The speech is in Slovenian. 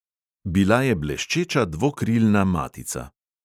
Bila je bleščeča dvokrilna matica.